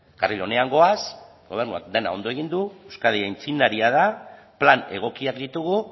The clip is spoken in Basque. karril onean goaz gobernuak dena ondo egin du euskadi aitzindaria da plan egokiak ditugu